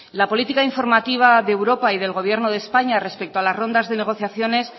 la política informativa de europa y del gobierno de españa respecto a las rondas de negociaciones